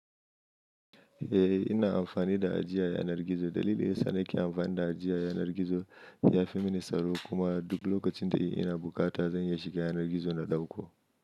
Eh ina amfani da ajiye yanar gizo. Dalilin sa ni ke amfani da ajiye yanar gizo yafi mini tsaro kuma duk lokacin da ina bukata zan iya shiga yanar gizo na dauko.